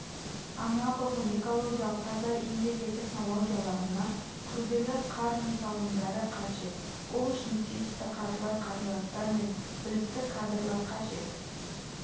анағұрлым экологиялық таза энергия технологияларына күрделі қар жұмсалымдары қажет ол үшін тиісті қаржылай қаражатар мен білікті кадрлар қажет